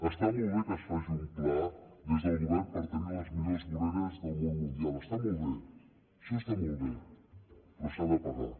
està molt bé que es faci un pla des del govern per tenir les millors voreres del món mundial està molt bé això està molt bé però s’ha de pagar